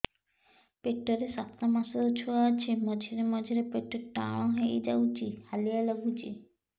ପେଟ ରେ ସାତମାସର ଛୁଆ ଅଛି ମଝିରେ ମଝିରେ ପେଟ ଟାଣ ହେଇଯାଉଚି ହାଲିଆ ଲାଗୁଚି